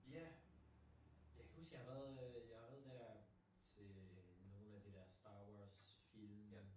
Ja! Jeg kan huske jeg har været øh jeg har været der til nogle af de der øh Star Wars film